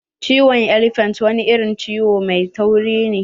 Ciyawar elephant wani irin ciyawa mai tauri ne.